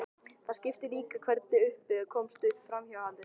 Það skiptir líka máli hvernig upp komst um framhjáhaldið.